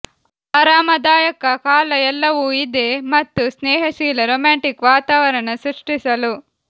ಆರಾಮದಾಯಕ ಕಾಲ ಎಲ್ಲವೂ ಇದೆ ಮತ್ತು ಸ್ನೇಹಶೀಲ ರೋಮ್ಯಾಂಟಿಕ್ ವಾತಾವರಣ ಸೃಷ್ಟಿಸಲು